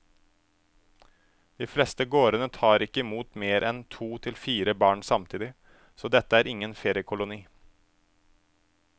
De fleste gårdene tar ikke imot mer enn to til fire barn samtidig, så dette er ingen feriekoloni.